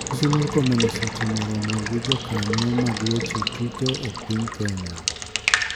Migosi Murkomen osetimo romo gi jokanyo mag weche tuke e piny kenya.